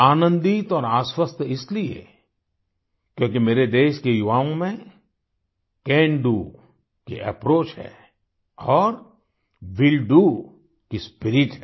आनंदित और आश्वस्त इसलिए क्योंकि मेरे देश के युवाओं में कैन डीओ की अप्रोच है और विल डीओ की स्पिरिट है